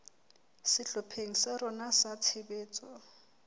sehlopheng sa rona sa tshebetso